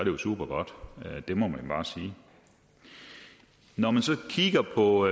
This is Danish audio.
jo supergodt det må man bare sige når man så kigger på